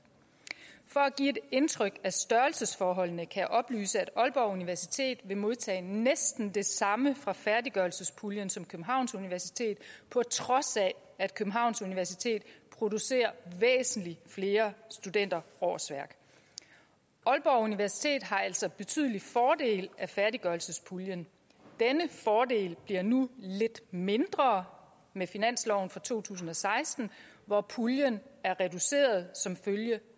for at give et indtryk af størrelsesforholdene kan jeg oplyse at aalborg universitet vil modtage næsten det samme fra færdiggørelsespuljen som københavns universitet på trods af at københavns universitet producerer væsentlig flere studenterårsværk aalborg universitet har altså betydelig fordel af færdiggørelsespuljen denne fordel bliver nu lidt mindre med finansloven for to tusind og seksten hvor puljen er reduceret som følge